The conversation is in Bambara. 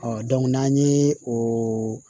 n'an ye o